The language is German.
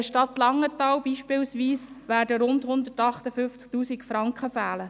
der Stadt Langenthal beispielsweise werden rund 158 000 Franken fehlen.